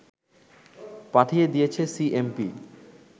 পাঠিয়ে দিয়েছে সিএমপি